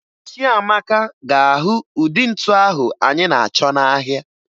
Chiamaka ga-ahụ ụdị ntu ahụ anyị na-achọ n'ahịa